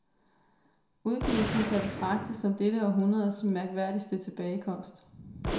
Udgivelsen kan betragtes som dette århundredets mærkværdigste tilbagekomst.